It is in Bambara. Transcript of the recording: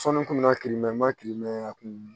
Sɔɔni kun nana kilimɛ kiri mɛ a kun